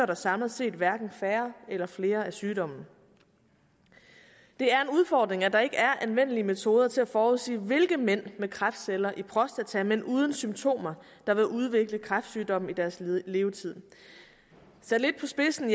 der samlet set hverken færre eller flere af sygdommen det er en udfordring at der ikke er anvendelige metoder til at forudsige hvilke mænd med kræftceller i prostata men uden symptomer der vil udvikle kræftsygdommen i deres levetid sat lidt på spidsen